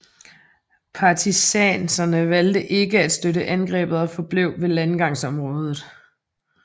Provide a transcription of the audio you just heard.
Partisanerne valgte ikke at støtte angrebet og forblev ved landgangsområdet